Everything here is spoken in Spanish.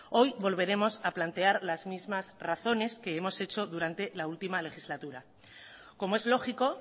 hoy volveremos a plantear las mismas razones que hemos hecho durante la última legislatura como es lógico